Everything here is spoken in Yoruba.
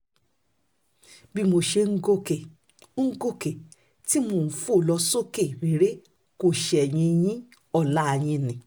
bí mo ṣe ń gòkè ń gòkè tí mò ń fò lọ sókè réré kò ṣẹ̀yìn yin ọlá yín ni